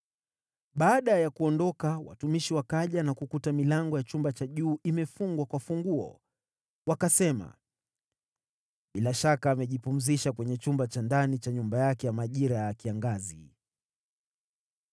Baada ya kuondoka, watumishi wakaja na kukuta milango ya chumba cha juu imefungwa kwa funguo. Wakasema, “Bila shaka amejipumzisha kwenye chumba cha ndani cha nyumba yake ya majira ya kiangazi.”